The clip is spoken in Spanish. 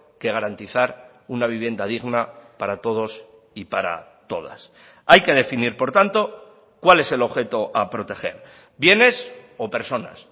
que garantizar una vivienda digna para todos y para todas hay que definir por tanto cuál es el objeto a proteger bienes o personas